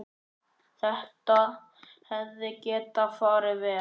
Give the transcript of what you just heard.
Þetta hefði getað farið verr.